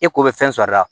Eko bɛ fɛn sɔrɔ a la